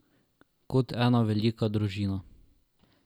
Kot ena velika družina.